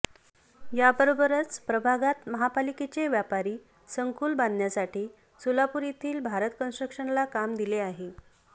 याबरोबरच प्रभागात महापालिकेचे व्यापारी संकुल बांधण्यासाठी सोलापूर येथील भारत कन्स्ट्रक्शनला काम दिले आहे